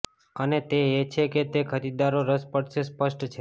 અને તે એ છે કે તે ખરીદદારો રસ પડશે સ્પષ્ટ છે